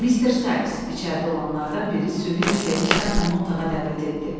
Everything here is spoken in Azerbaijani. Mister Sykes, içəridə olanlardan biri süni bir sevinclə onu otağa dəvət etdi.